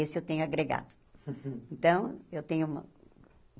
Esse eu tenho agregado. Então eu tenho